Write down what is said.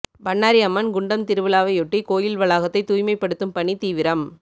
பண்ணாரி அம்மன் குண்டம் திருவிழாவையொட்டி கோயில் வளாகத்தை தூய்மைப்படுத்தும் பணி தீவிரம்